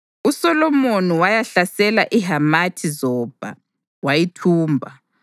USolomoni wayahlasela iHamathi-Zobha wayithumba.